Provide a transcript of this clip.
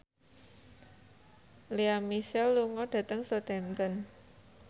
Lea Michele lunga dhateng Southampton